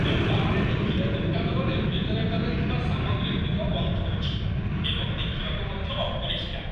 କ୍ରେତାମାନେ ଦେଖିଲେ ଦୋକାନର ରେଫ୍ରିଜରେଟରରେ ଥିବା ସାମଗ୍ରୀଗୁଡ଼ିକ ଗନ୍ଧଉଛି ଏବଂ ଦେଖିବାକୁ ମଧ୍ୟ ଅପରିଷ୍କାର।